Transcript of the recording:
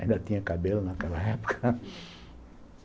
Ainda tinha cabelo naquela época